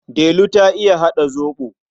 Delu ta iya haɗa zaɓo.